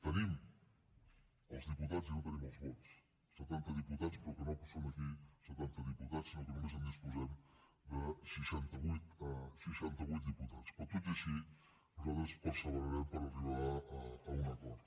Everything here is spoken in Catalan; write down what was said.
tenim els diputats i no tenim els vots setanta diputats però que no són aquí setanta diputats sinó que només disposem de seixanta vuit seixanta vuit diputats però tot i així nosaltres perseverarem per arribar a un acord